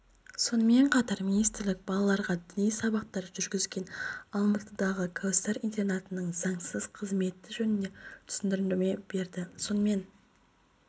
сонымен қатар министрлік балаларға діни сабақтар жүргізген алматыдағы кәусар интернатының заңсыз қызметі жөнінде түсіндірме берді сонымен